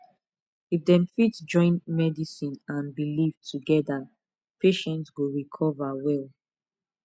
if dem fit join medicine and belief together patient go recover well